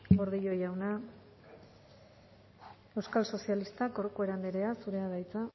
gordillo jauna euskal sozialistak corcuera andrea zurea da hitza